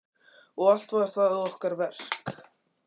Og allt var það okkar verk.